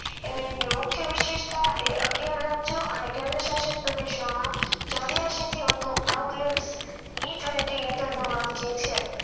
મુખ્ય વિશિષ્ટા એ અગિયાર રાજ્યો અને કેન્દ્ર ષાસિત પ્રદેશો માં ચોરીયાસી થી વધુ outlateE twenty internal margin છે